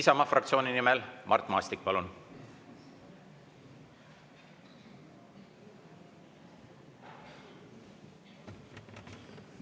Isamaa fraktsiooni nimel Mart Maastik, palun!